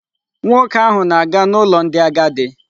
Nwoke ahụ na-aga n'ụlọ ndị agadi.